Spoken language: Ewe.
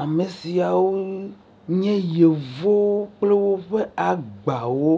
ame siawo nye yevo kple woƒe agbawo